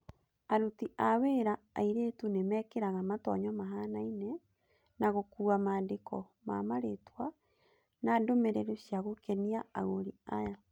Aruti a wĩra airĩtu nĩmekĩraga matonyo mahanaine na gũkuua maandĩko mamarĩtwa na ndũmĩrĩri cia gũkenia agũri aya.